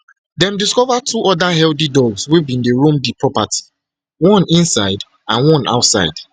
dem discover two oda healthy dogs wey bin dey roam di property one inside and one outside